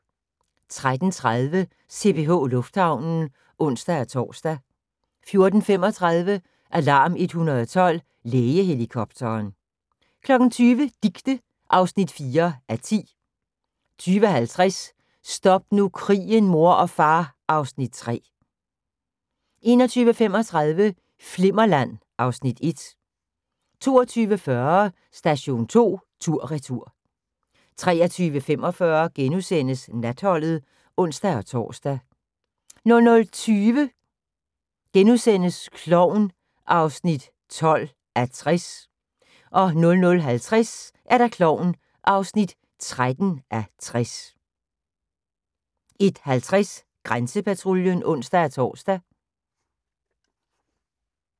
13:30: CPH Lufthavnen (ons-tor) 14:35: Alarm 112 – Lægehelikopteren 20:00: Dicte (4:10) 20:50: Stop nu krigen, mor og far (Afs. 3) 21:35: Flimmerland (Afs. 1) 22:40: Station 2 tur/retur 23:45: Natholdet *(ons-tor) 00:20: Klovn (12:60)* 00:50: Klovn (13:60) 01:50: Grænsepatruljen (ons-tor)